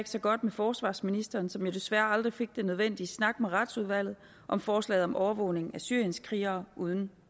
så godt med forsvarsministeren som jo desværre aldrig fik den nødvendige snak med retsudvalget om forslaget om overvågning af syrienskrigere uden